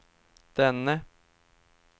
denne